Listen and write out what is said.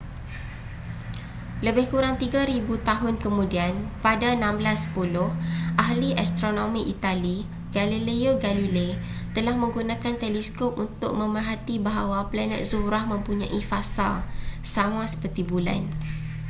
lebih kurang tiga ribu tahun kemudian pada 1610 ahli astronomi itali galileo galilei telah menggunakan teleskop untuk memerhati bahawa planet zuhrah mempunyai fasa sama seperti bulan